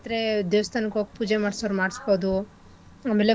ದೇವಸ್ಥಾನಕ್ ಹೋಗ್ ಪೂಜೆ ಮಾಡ್ಸೋರು ಮಾಡ್ಸ್ಬೋದು ಆಮೇಲೆ